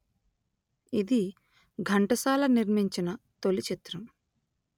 ఇది ఘంటసాల నిర్మించిన తొలిచిత్రం